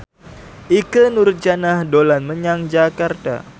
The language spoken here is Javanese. Ikke Nurjanah dolan menyang Jakarta